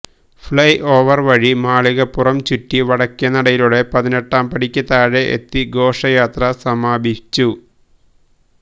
fly over വഴി മാളികപ്പുറം ചുറ്റി വടക്കെ നടയിലൂടെ പതിനെട്ടാം പടിക്ക് താഴെ എത്തി ഘോഷയാത്ര സമാപിച്ചു